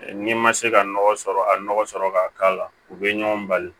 N'i ma se ka nɔgɔ sɔrɔ a nɔgɔ sɔrɔ ka k'a la u bɛ ɲɔgɔn bali